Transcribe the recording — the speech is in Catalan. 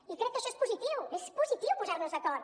i crec que això és positiu és positiu posar nos d’acord